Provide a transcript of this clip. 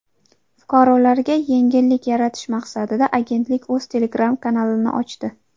Fuqarolarga yengillik yaratish maqsadida agentlik o‘z Telegram kanalini ochdi.